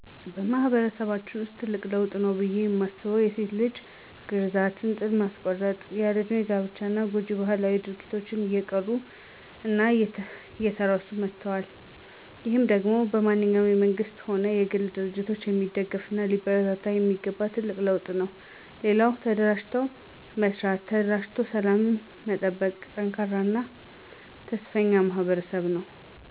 በማህበረሰባችን ውስጥ ትልቅ ለውጥ ነው ብየ ማስበው የሴት ልጅ ግረዛት፣ እንጥል ማስቆረጥ፣ ያለ እድሜ ጋብቻ እና ጎጅ ባህላዊ ድርጊቶች እየቀሩ እና እየተረሱ መጠዋል። ይህ ደሞ በማንኛውም በመንግስትም ሆነ በግል ድርጅት የሚደገፍ እና ሊበረታታ የሚገባው ትልቅ ለውጥ ነው። ሌላኛው ተደራጅተው መስራት፣ ተደራጅተው ሰላምን መጠበቅ፣ ጠንካራ እና ተስፈኛ ማህበረሰብ ነው።